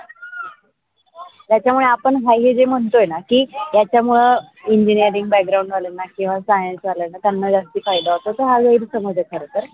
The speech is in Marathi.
त्याच्या मूळ आपण हा जे ये म्ह्न्तोयेना कि त्याच्या मूळ engineering background वाल्यांना केव्हा science वाल्यांना त्यांना जास्ती फायेदा हा गैरसमज आहे खरं तर